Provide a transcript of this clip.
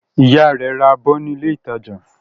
Ìyá rẹ̀ ra abọ́ ní ilé-ìtajà.